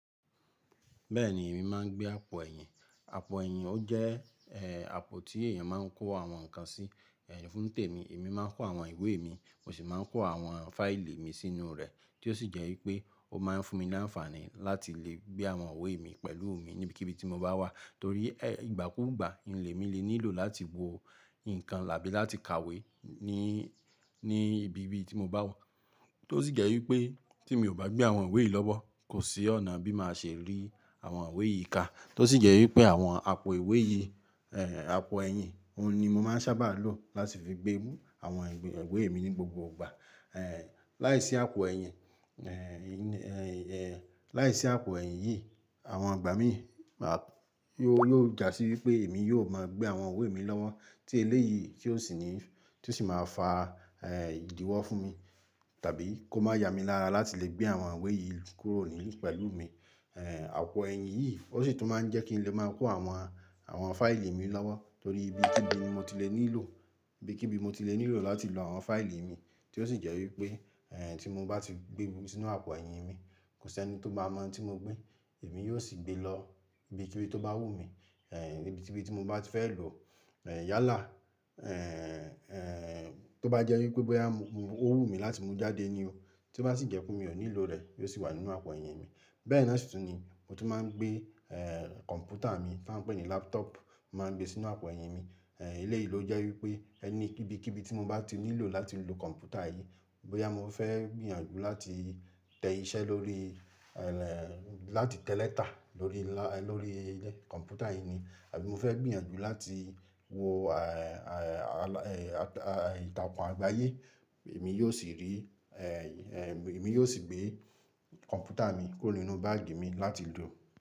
Bẹ́ẹ̀ni èmi máa ń gbé àpò ẹ̀yìn. Àpò ẹ̀yìn ó jẹ́ àpò tí èyàn máa ń kó àwọn ǹkan sí. Ẹ̀ fun tèmi, èmi máa ń kó àwọn ìwé mi, mosì máa ń kó àwọn fáìlì mi sínú rẹ̀ tí ó sì jẹ́ wípé ó máa ń fún mi láǹfààní láti lè gbé àwọn ìwé mi pẹ̀lú mi níbikíbi tí mo bá wà torí e ìgbà kúgbà lé mi lè nílò láti wo ǹkan tàbí láti kàwé ní, ní ibi tí mo bá wà tó sì jẹ́ wípé tí mi ò bá gbé àwọn ìwé yì lọ́wọ́, kò sí ọ̀nà bí màá ṣe rí àwọn ìwé yì ká tó sì jẹ́ wípé àwọn àpò ìwé yì. Àpò ẹ̀yìn, òun ni mo máa ń sábà lò láti fi gbé àwọn ìwé mi ní gbogbo gbà. Ẹ̀ láìsí àpò ẹ̀yìn, ẹ̀ láìsí àpò ẹ̀yìn yì àwọn igbà mí yóò jásí wípé èmi yóò máa gbé àwọn ìwé mi lọ́wọ́ tí eléyì kí ó sì ní, tí ó sì máa fa ìdíwọ́ fún mi tàbí kó máa ya mi lára láti lè gbé àwọn ìwé yí kúrò ní pẹ̀lú mi. Àpò ẹ̀yìn yìí ó sì tún máa ń jẹ́ kí n lè máa kó àwọn, àwọn fáìlì mi lọ́wọ́ torí ibikíbi ni mo ti lè nílò, ibikíbi mo ti lè nílò láti lo àwọn fáìlì mi tí ó sì jẹ́ wípé e tí mo bá ti gbé sínú àpò ẹ̀yìn mi, kò sí ẹni tó maa mọ tí mo gbé. Èmi yóò sì gbé e lọ ibikíbi tó bá wù mí, ibikíbi tí mo bá ti fẹ́ lòó yálà tó bá jẹ́ wípé bóyá ó wù mí láti mú jáde ni o, tí ó bá sì jẹ́ pé mi ò nílò rẹ̀, yóò sì wà nínú àpò ẹ̀yìn mi. Bẹ́ẹ̀ náà sì tún ni mo tún máa ń gbé e computer mi ta pe ní laptop mo máa ń gbé sínú àpò ẹ̀yìn mi. Eléyi ló jẹ́ wípé ẹni bíkíbi tí mo bá ti nílò láti lo computer yí, bóyá mo fẹ́ gbìyànjú láti tẹ iṣẹ́ lórí, láti tẹ leetà lórí, lórí computer yì ni àbí mo fẹ́ gbìyànjú láti wo ìtàkùn àgbáyé, èmi yóò sì rí, èmi yóò sì gbé computer mi kúrò nínú báagì mi láti lò.